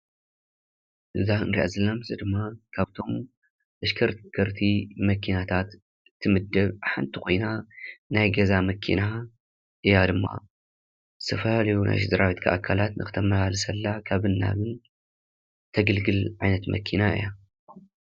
እዛ ንሪኣ ዘለና ምስሊ ድማ ካብቶም ተሽከርከርቲ መኪናታት ትምደብ ሓንቲ ኮይና ናይ ገዛ መኪና እያ ድማ፡፡ ዝተፈላለዩ ናይ ስድራ ቤትካ ኣካላት ንኽተመላልሰላ ካብን ናብን ተገልግል ዓይነት መኪና እያ፡፡